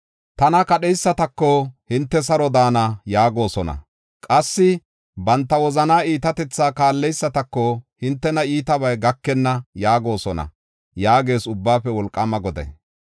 Tana kadheysatako, ‘Hinte saro daana’ yaagosona; qassi banta wozana iitatethaa kaalleysatako, ‘Hintena iitabay gakenna’ yaagosona” yaagees Ubbaafe Wolqaama Goday.